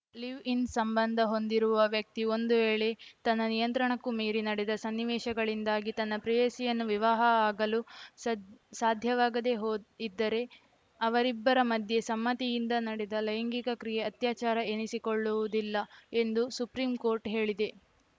live in ಸಂಬಂಧ ಹೊಂದಿರುವ ವ್ಯಕ್ತಿ ಒಂದು ವೇಳೆ ತನ್ನ ನಿಯಂತ್ರಣಕ್ಕೂ ಮೀರಿ ನಡೆದ ಸನ್ನಿವೇಶಗಳಿಂದಾಗಿ ತನ್ನ ಪ್ರೇಯಸಿಯನ್ನು ವಿವಾಹ ಆಗಲು ಸದ್ ಸಾಧ್ಯವಾಗದೇ ಹೋ ಇದ್ದರೆ ಅವರಿಬ್ಬರ ಮಧ್ಯೆ ಸಮ್ಮತಿಯಿಂದ ನಡೆದ ಲೈಂಗಿಕ ಕ್ರಿಯೆ ಅತ್ಯಾಚಾರ ಎನಿಸಿಕೊಳ್ಳುವುದಿಲ್ಲ ಎಂದು ಸುಪ್ರೀಂಕೋರ್ಟ್‌ ಹೇಳಿದೆ